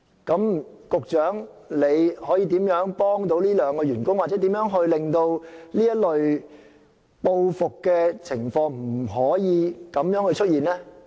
局長可以怎樣幫助這兩名員工，又或令這類報復情況不再出現？